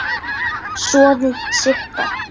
Soðið sigtað.